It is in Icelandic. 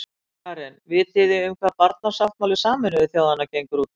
Karen: Vitið þið um hvað barnasáttmáli Sameinuðu þjóðanna gengur út á?